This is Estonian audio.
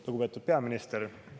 Lugupeetud peaminister!